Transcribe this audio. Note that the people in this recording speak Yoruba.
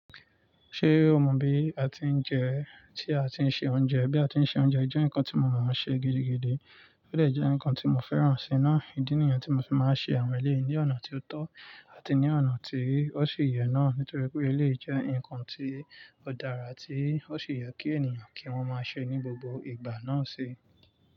Ṣé o mọ bí a ti ń jẹ, tí a ti ń ṣe oúnjẹ? Bí a ti ń ṣe oúnjẹ jẹ́ nǹkan tí mo mòó ṣe gidigidi, ó dè jẹ́ nǹkan tí mo fẹ́ràn sì nàá. Ìdí nìyẹn tí mo fi máa ń ṣe àwọn ẹlẹyii ní ọ̀nà tí ó tọ́ àti ní ọ̀nà tí ó ṣi yẹ náà. Nítorí pé eléyìí jẹ́ ǹkan tí ó dára tí ó ṣi yẹ kí ènìyàn kí wọ́n máa ṣe ní gbogbo ìgbà náà si.